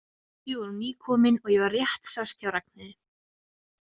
Við vorum nýkomin og ég var rétt sest hjá Ragnheiði.